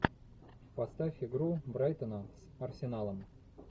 поставь игру брайтона с арсеналом